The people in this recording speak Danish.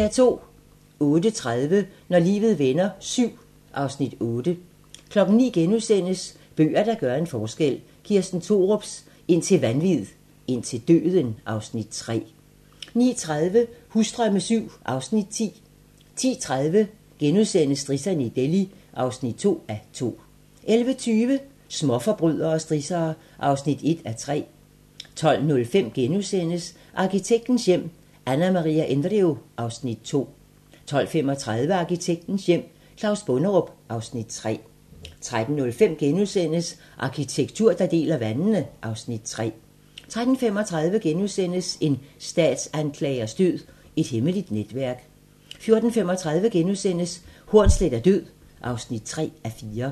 08:30: Når livet vender VII (Afs. 8) 09:00: Bøger, der gør en forskel - Kirsten Thorups "Indtil vanvid, indtil døden" (Afs. 3)* 09:30: Husdrømme VII (Afs. 10) 10:30: Strisserne i Delhi (2:2)* 11:20: Småforbrydere og strissere (1:3) 12:05: Arkitektens hjem: Anna Maria Indrio (Afs. 2)* 12:35: Arkitektens hjem: Claus Bonderup (Afs. 3) 13:05: Arkitektur, der deler vandene (Afs. 3)* 13:35: En statsanklagers død: Et hemmeligt netværk * 14:35: Hornsleth er død (3:4)*